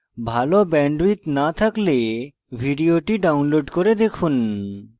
ভাল bandwidth না থাকলে ভিডিওটি download করে দেখুন